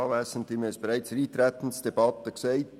Wir haben es bereits in der Eintretensdebatte gesagt: